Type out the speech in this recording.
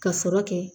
Ka sɔrɔ kɛ